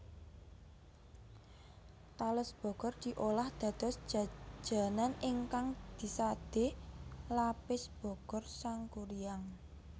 Tales Bogor diolah dados jajanan ingkang disade Lapis Bogor Sangkuriang